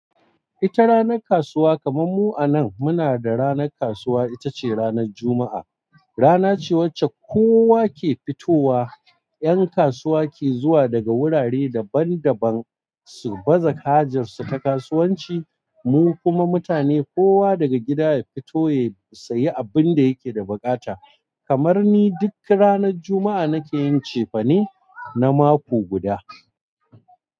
Ita ranar kasuwa kamar mu a nan muna da ranar kasuwa itace ranar Juma'a. Rana ce wacce kowa ke fitowa, 'yan kasuwa ke zuwa daga wurare daban-daban su baza kajarsu ta kasuwanci, mu kuma mutane kowa daga gida ya fito ya sayi abin da yake da bukata. Kamar ni duk ranar Juma'a nake yin cefane na mako guda.